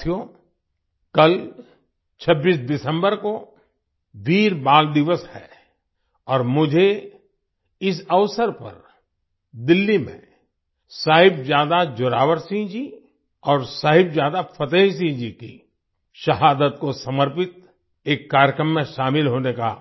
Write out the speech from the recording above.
साथियो कल 26 दिसम्बर को वीर बाल दिवस है और मुझे इस अवसर पर दिल्ली में साहिबजादा जोरावर सिंह जी और साहिबजादा फ़तेह सिंह जी की शहादत को समर्पित एक कार्यक्रम में शामिल होने का